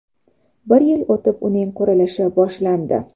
Bir yil o‘tib uning qurilishi boshlandi.